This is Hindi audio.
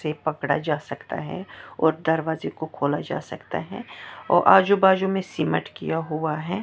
पकड़ा जा सकता है और दरवाजे को खोला जा सकता है और आजू बाजू मे सिमट किया हुआ है।